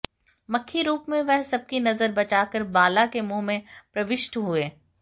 मक्खी रूप में वह सबकी नज़र बचाकर बाला के मुंह में प्रविष्ट हुए